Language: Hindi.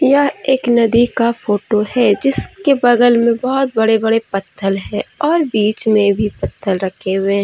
यह एक नदी का फोटो है जिसके बगल में बहुत बड़े बड़े पत्थल है और बीच में भी पत्थर रखे हुए हैं।